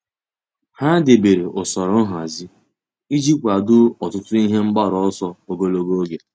Há dèbèrè usoro nhazi iji kwàdòọ́ ọtụ́tụ́ ihe mgbaru ọsọ ogologo oge.